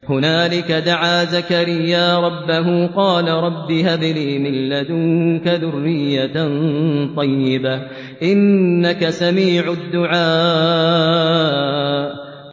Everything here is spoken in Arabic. هُنَالِكَ دَعَا زَكَرِيَّا رَبَّهُ ۖ قَالَ رَبِّ هَبْ لِي مِن لَّدُنكَ ذُرِّيَّةً طَيِّبَةً ۖ إِنَّكَ سَمِيعُ الدُّعَاءِ